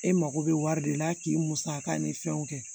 E mako bɛ wari de la k'i musaka ni fɛnw kɛ